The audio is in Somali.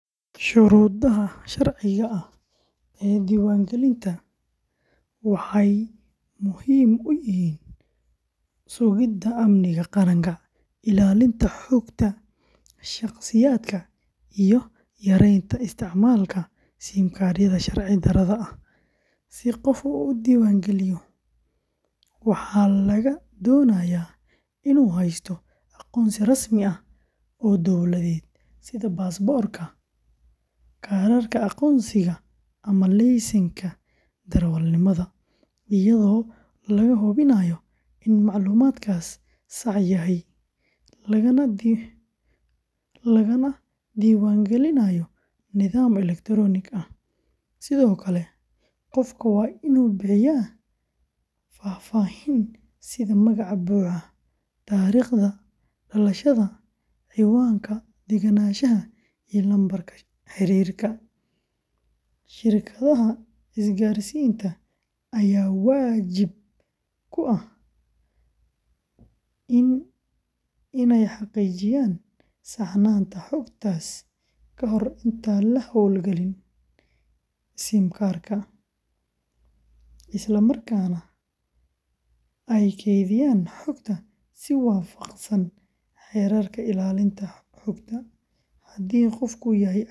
Shuruudaha sharciga ah ee diiwaangelinta waxay muhiim u yihiin sugidda amniga qaranka, ilaalinta xogta shakhsiyaadka, iyo yareynta isticmaalka SIM-yada sharci darrada ah. Si qof u diiwaangeliyo, waxaa laga doonayaa inuu haysto aqoonsi rasmi ah oo dawladeed sida baasaboorka, kaarka aqoonsiga ama laysanka darawalnimada, iyadoo laga hubinayo in macluumaadkaasi sax yahay, lagana diiwaangelinayo nidaam elektaroonik ah. Sidoo kale, qofka waa inuu bixiyaa faahfaahin sida magaca buuxa, taariikhda dhalashada, cinwaanka deganaanshaha, iyo lambarka xiriirka. Shirkadaha isgaarsiinta ayaa waajib ku ah inay xaqiijiyaan saxnaanta xogtaas ka hor intaan la hawlgelin SIM-ka, isla markaana ay kaydiyaan xogta si waafaqsan xeerarka ilaalinta xogta. Haddii qofku yahay ajnabi.